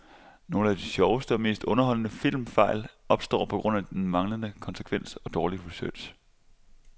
Nogle af de sjoveste og mest underholdende filmfejl opstår på grund af manglende konsekvens og dårlig research.